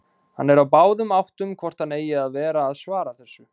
Hann er á báðum áttum hvort hann eigi að vera að svara þessu.